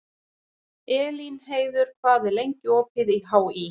Elínheiður, hvað er lengi opið í HÍ?